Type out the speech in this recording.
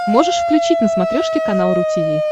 можешь включить на смотрешке канал ру ти ви